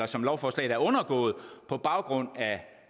som lovforslaget har undergået på baggrund af